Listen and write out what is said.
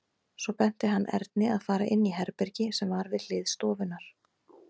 Svo benti hann Erni að fara inn í herbergi sem var við hlið stofunnar.